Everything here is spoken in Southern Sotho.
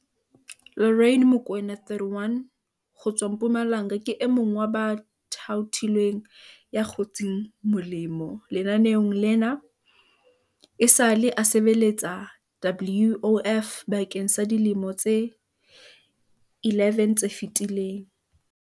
Lorraine Mokoena, 31, ho tswa Mpumalanga ke e mong wa ba thaothilweng ya kgotseng mo lemo lenaneong lena. Esale a sebeletsa WOF bakeng sa dilemo tse 11 tse fetileng.